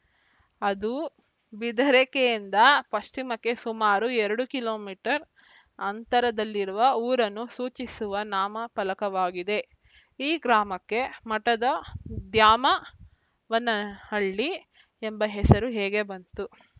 ಅದು ಬಿದರೆಕೆರೆಯಿಂದ ಪಶ್ಚಿಮಕ್ಕೆ ಸುಮಾರು ಎರಡು ಕಿಲೋ ಮೀಟರ್ ಅಂತರದಲ್ಲಿರುವ ಊರನ್ನು ಸೂಚಿಸುವ ನಾಮ ಫಲಕವಾಗಿದೆ ಈ ಗ್ರಾಮಕ್ಕೆ ಮಠದ ದ್ಯಾಮ ವನಹಳ್ಳಿ ಎಂಬ ಹೆಸರು ಹೇಗೆ ಬಂತು